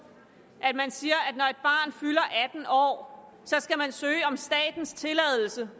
at man siger at år skal det søge om statens tilladelse